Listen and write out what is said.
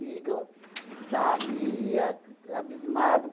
sabe, a q abismado.